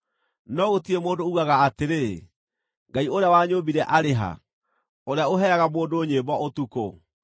No gũtirĩ mũndũ uugaga atĩrĩ, ‘Ngai ũrĩa wanyũũmbire arĩ ha, ũrĩa ũheaga mũndũ nyĩmbo ũtukũ,